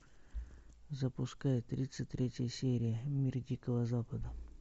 запускай тридцать третья серия мир дикого запада